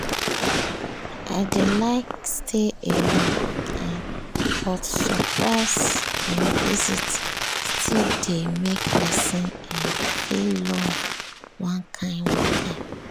i dey like stay alone um but surprise um visits still dey make pesin um feel loved one kain one kain.